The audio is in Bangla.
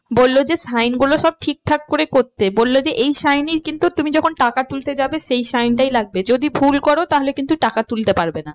বললো যে sign শুলো সব ঠিকঠাক করে করতে বললো যে এই sign এই কিন্তু তুমি যখন টাকা তুলতে যাবে এই sign টাই লাগবে যদি ভুল করো তাহলে কিন্তু টাকা তুলতে পারবে না।